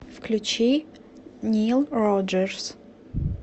включи нил роджерс